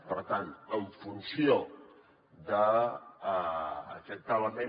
per tant en funció d’aquest element